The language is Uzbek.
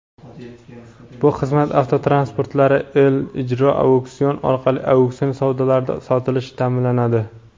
bu xizmat avtotransportlari "E-Ijro Auksion" orqali auksion savdolarda sotilishi ta’minlanadi..